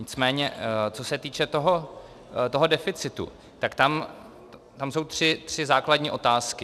Nicméně co se týče toho deficitu, tak tam jsou tři základní otázky.